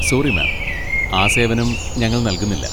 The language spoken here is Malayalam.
Sorry, ma'am. ആ സേവനം ഞങ്ങൾ നൽകുന്നില്ല.